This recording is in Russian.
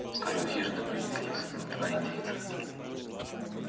вскоре у хижины появились два индейца